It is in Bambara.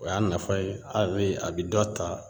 O y'a nafa ye a bɛ a bɛ dɔ ta